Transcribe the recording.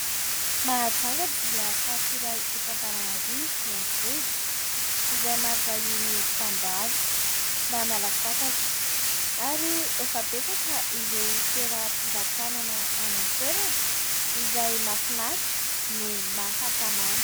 Mahajanga dia faritra iray eto Antananarivo renivohitra izay maro vahiny mpandalo mba miala sasatra ary efa betsaka ireo toeram-pivatanana any an-toerana izay mahafinaritra no mahatamana.